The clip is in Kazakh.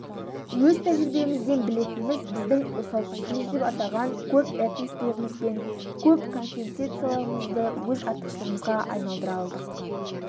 өз тәжірибемізден білетініміз біздің осал тұсымыз деп атаған көпэтностылығымыз бен көпконфессиялығымызды өз артықшылығымызға айналдыра алдық